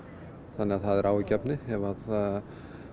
þannig það er áhyggjuefni ef að